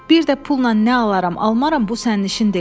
Bir də pulla nə alaram, almaram, bu sənin işin deyil.